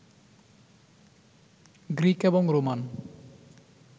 Greek এবং Roman